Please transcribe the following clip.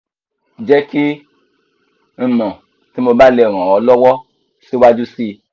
je ki n mo ti mo ba le ran o lowo siwaju si